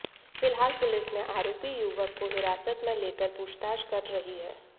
फिलहाल पुलिस ने आरोपी युवक को हिरासत में लेकर पूछताछ कर रही है